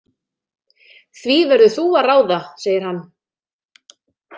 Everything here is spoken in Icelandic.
Því verður þú að ráða, segir hann.